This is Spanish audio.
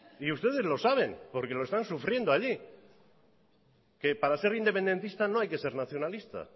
y ustedes lo saben porque lo están sufriendo allí que para ser independentista no hay que ser nacionalista